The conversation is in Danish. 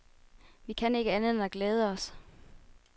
Vi kan ikke andet end at glæde os.